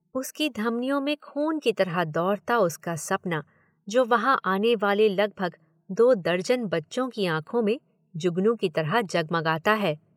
उसकी धमनियों में खून की तरह दौड़ता उसका सपना जो वहां आनेवाले लगभग दो दर्जन बच्चों की आंखों में जुगनू की तरह जगमगाता है।